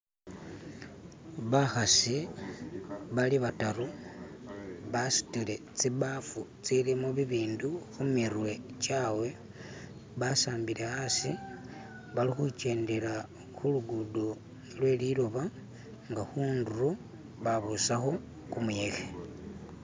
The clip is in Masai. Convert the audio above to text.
Bakhasi bali bataru basutile tsibaafu tsilimo bibindu khumirwe kyabwe, basmbile asi balikhukendela khulugudo lweliloba nga khundulo babusakho kumuyekhe.